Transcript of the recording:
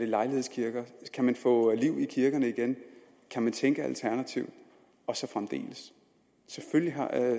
lejlighedskirker kan man få liv i kirkerne igen kan man tænke alternativt og så fremdeles selvfølgelig